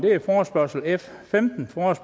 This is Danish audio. ordet